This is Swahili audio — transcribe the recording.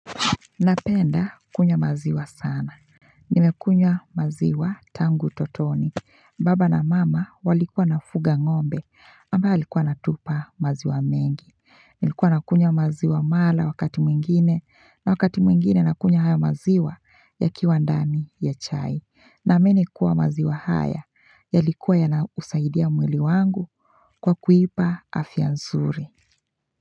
Napenda kunywa maziwa sana. Nimekunywa maziwa tangu utotoni. Baba na mama walikuwa na fuga ngombe amba alikuwa na tupa maziwa mengi. Nilikuwa na kunywa maziwa mala wakati mwingine na wakati mwingine na kunywa hayo maziwa yakiwa ndani ya chai. Naamini kuwa maziwa haya ya likuwa ya na usaidia mwili wangu kwa kuipa afyanzuri.